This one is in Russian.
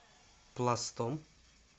пластом